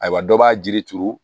Ayiwa dɔ b'a jiri turu